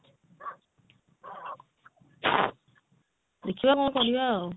ଦେଖିବା କଣ କରିବା ଆଉ